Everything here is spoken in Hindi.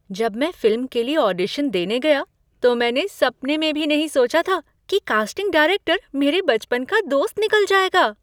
जब मैं फिल्म के लिए ऑडिशन देने गया तो मैंने सपने में भी नहीं सोचा था कि कास्टिंग डायरेक्टर मेरे बचपन का दोस्त निकल जाएगा!